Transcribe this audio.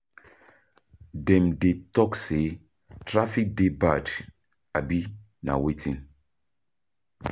dem dey talk say traffic dey bad, abi na wetin?